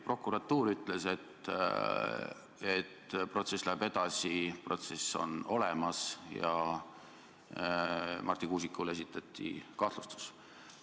Prokuratuur ütles, et protsess on olemas, protsess läheb edasi, ja Marti Kuusikule esitati kahtlustus.